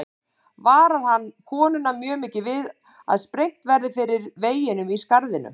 Varar hann konuna mjög við að sprengt verði fyrir veginum í skarðinu.